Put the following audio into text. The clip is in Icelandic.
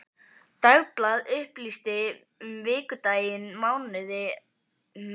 Dagblað upplýsti um vikudaginn, mánuðinn, árið.